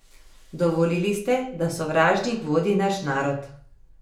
Dovolili ste, da sovražnik vodi naš narod.